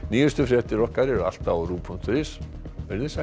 nýjustu fréttir okkar eru alltaf á ruv punktur is veriði sæl